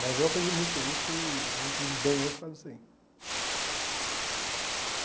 Mas eu aprendi muito com isso e a gente vive bem hoje por causa disso aí.